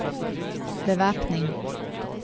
bevæpning